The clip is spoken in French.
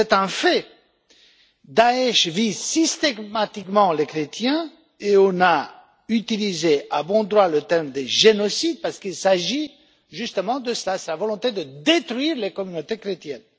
un fait, Daech vise systématiquement les chrétiens et on a utilisé à bon droit le terme de génocide parce qu'il s'agit justement d'une volonté de détruire les communautés chrétiennes.